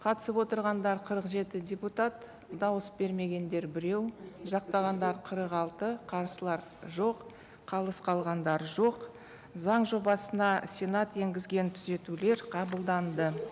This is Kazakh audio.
қатысып отырғандар қырық жеті депутат дауыс бермегендер біреу жақтағандар қырық алты қарсылар жоқ қалыс қалғандар жоқ заң жобасына сенат енгізген түзетулер қабылданды